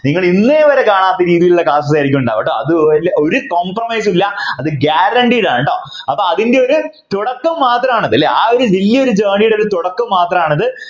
നിങ്ങൾ ഇന്നേവരെ കാണാത്ത രീതിയിലുള്ള Class ആയിരിക്കും കേട്ടോ ഉണ്ടാവുക അത് ഒരു Compromise ഇല്ല അത് Guarantee യാണ് കേട്ടോ അപ്പൊ അതിൻ്റെ ഒരു തുടക്കം മാത്രമാണ് അത് അല്ലേ ആ ഒരു വലിയ ഒരു Journey യുടെ തുടക്കം മാത്രമാണിത്